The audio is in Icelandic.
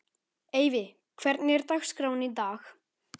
Eyfi, hvernig er dagskráin í dag?